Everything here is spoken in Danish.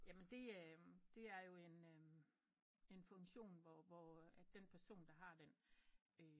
Jamen det er det er jo en funktion hvor at den person der har den